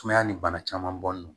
Sumaya ni bana caman bɔnnen do